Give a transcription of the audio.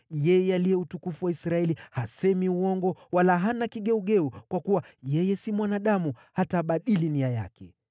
Yeye aliye Utukufu wa Israeli hasemi uongo wala hana kigeugeu; kwa kuwa yeye si mwanadamu, hata abadili nia yake.”